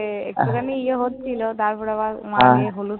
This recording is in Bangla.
একটুখানি ইয়ে হচ্ছিল, তারপর আবার